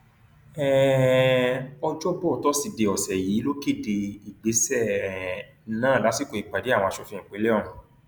um ọjọbọ tosidee ọsẹ yìí ló kéde ìgbésẹ um náà lásìkò ìpàdé àwọn asòfin ìpínlẹ ọhún